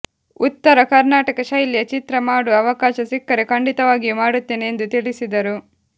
ಉತ್ತರ ಕರ್ನಾಟಕ ಶೈಲಿಯ ಚಿತ್ರ ಮಾಡುವ ಅವಕಾಶ ಸಿಕ್ಕರೆ ಖಂಡಿತವಾಗಿಯೂ ಮಾಡುತ್ತೇನೆ ಎಂದು ತಿಳಿಸಿದರು